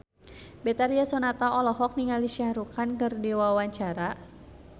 Betharia Sonata olohok ningali Shah Rukh Khan keur diwawancara